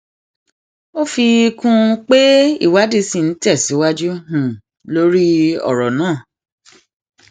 ó um fi kún pé ìwádìí ṣì ń tẹsíwájú um lórí ọrọ náà